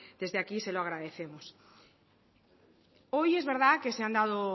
desde aquí se lo agradecemos hoy es verdad que se han dado